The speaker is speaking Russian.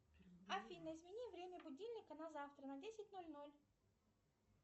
афина измени время будильника на завтра на десять ноль ноль